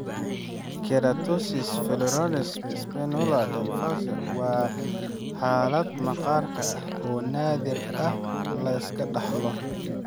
Keratosis follicularis spinulosa decalvans (KFSD) waa xaalad maqaarka ah oo naadir ah, la iska dhaxlo.